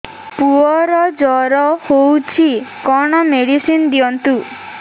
ପୁଅର ଜର ହଉଛି କଣ ମେଡିସିନ ଦିଅନ୍ତୁ